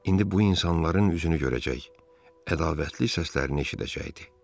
İndi bu insanların üzünü görəcək, ədavətli səslərini eşidəcəkdi.